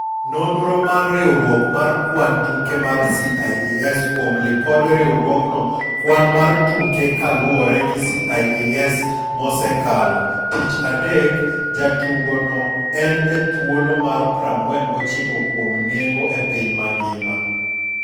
Nonro mar riwruok mar kwan tuke mar CIESkuom lipod riwruogno kwan mar tuke kaluore gi CIES mosekalo. Tich adek, jatugono en e thuolo mar 49 kuom nengo e piny mangima.